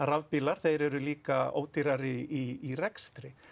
rafbílar þeir eru líka ódýrari í rekstri